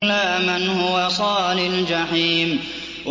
إِلَّا مَنْ هُوَ صَالِ الْجَحِيمِ